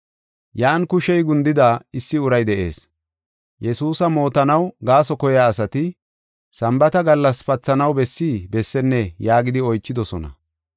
Yan kushey gundida issi uray de7ees. Yesuusa mootanaw gaaso koyiya asati, “Sambaata gallas pathanaw bessi bessennee?” yaagidi oychidosona.